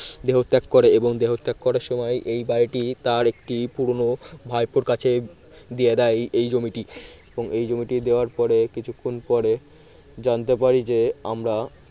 দেহত্যাগ করে এবং দেহত্যাগ করার সময় এই বাড়িটি তার একটি পুরনো ভাইপোর কাছে দিয়ে দেয় এই জমিটি এবং এই জমিটি দেওয়ার পরে কিছুক্ষণ পরে জানতে পারে যে আমরা